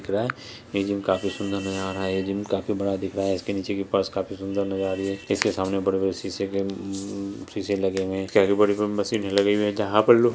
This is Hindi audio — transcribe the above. दिख रहा है ये जिम काफी सूंदर नज़र आ रहा है ये जिम काफ़ी बड़ा दिख रहा है इसके नीचे की फर्श काफ़ी सुन्दर नज़र आ रही है इसके सामने बड़े-बड़े शीशे के उम्म शीशे लगे हुए है इसके आगे बड़े-बड़े मशीने लगे हुए है जहाँ पर लोग --